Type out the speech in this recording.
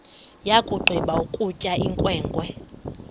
yakugqiba ukutya inkwenkwe